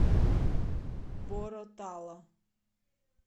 боро тала